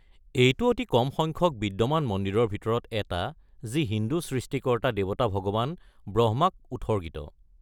এইটো অতি কম সংখ্যক বিদ্যমান মন্দিৰৰ ভিতৰত এটা যি হিন্দু সৃষ্টিকৰ্তা-দেৱতা ভগৱান ব্ৰহ্মাক উৎসৰ্গিত।